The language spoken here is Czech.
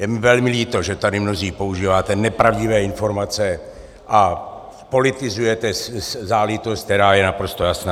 Je mi velmi líto, že tady mnozí používáte nepravdivé informace a politizujete záležitost, která je naprosto jasná.